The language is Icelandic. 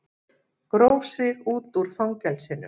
Gróf sig út úr fangelsinu